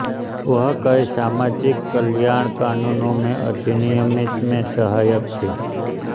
वह कई सामाजिक कल्याण कानूनों के अधिनियमित में सहायक थी